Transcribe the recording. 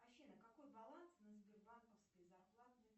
афина какой баланс на сбербанковской зарплатной